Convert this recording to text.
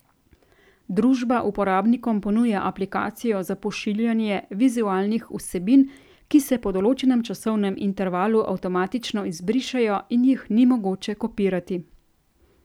Družba uporabnikom ponuja aplikacijo za pošiljanje vizualnih vsebin, ki se po določenem časovnem intervalu avtomatično izbrišejo in jih ni mogoče kopirati.